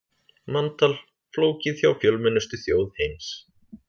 Manntal flókið hjá fjölmennustu þjóð heims